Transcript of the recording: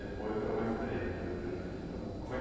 Depois foram mais três, depois do primeiro filho. Foram, como é que